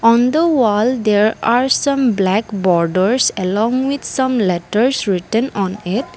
on the wall there are some black borders along with some letters written on it.